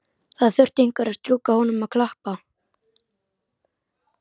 Það þurfti einhver að strjúka honum og klappa.